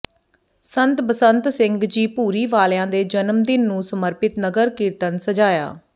ਸੰਤ ਬਸੰਤ ਸਿੰਘ ਜੀ ਭੂਰੀ ਵਾਲਿਆਂ ਦੇ ਜਨਮ ਦਿਨ ਨੂੰ ਸਮਰਪਿਤ ਨਗਰ ਕੀਰਤਨ ਸਜਾਇਆ